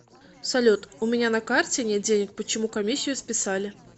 салют у меня на карте нет денег почему комиссию списали